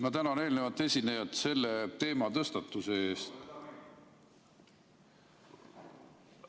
Ma tänan eelnevat esinejat selle teema tõstatuse eest.